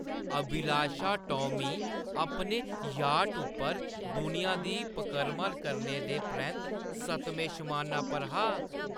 अभिलाष टॉमी अपने याट उप्पर दुनिया दी पकरम करने दे परैंत्त सतमें शमाना पर हा।